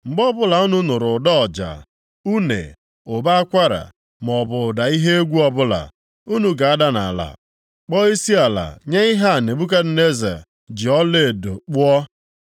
mgbe ọbụla unu nụrụ ụda ọja, une, ụbọ akwara, maọbụ ụda ihe egwu ọbụla, unu ga-ada nʼala kpọọ isiala nye ihe a Nebukadneza eze ji ọlaedo kpụọ.